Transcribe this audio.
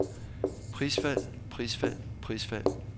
prisfald prisfald prisfald